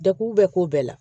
Deku bɛ k'o bɛɛ la